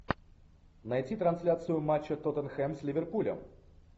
найти трансляцию матча тоттенхэм с ливерпулем